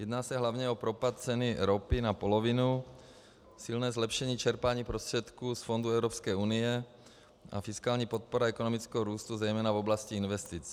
Jedná se hlavně o propad ceny ropy na polovinu, silné zlepšení čerpání prostředků z fondů Evropské unie a fiskální podpora ekonomického růstu zejména v oblasti investic.